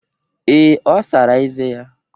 Ee, ọ sara eze ya